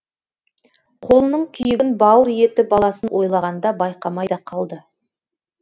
қолының күйігін бауыр еті баласын ойлағанда байқамай да қалды